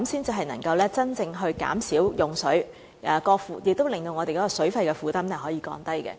這樣才能真正減少用水，亦令我們的水費負擔得以降低。